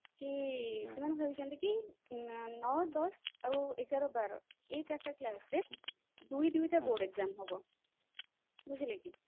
କି ସେମାନେ ଭାବିଛନ୍ତି କି ନଅ ଦଶ ଆଉ ଏଗାର ବାର ଏଇ ଚାରିଟା class ରେ ଦୁଇ ଦୁଇଟା board exam ହବ ବୁଝିଲେ କି